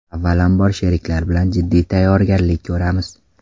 Avvalambor, sheriklar bilan jiddiy tayyorgarlik ko‘ramiz.